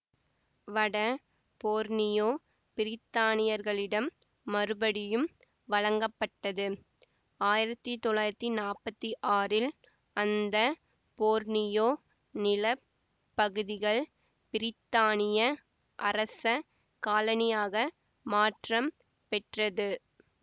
வட போர்னியோ பிரித்தானியர்களிடம் மறுபடியும் வழங்கப்பட்டது ஆயிரத்தி தொள்ளாயிரத்தி நாப்பத்தி ஆறில் அந்த போர்னியோ நில பகுதிகள் பிரித்தானிய அரச காலனியாக மாற்றம் பெற்றது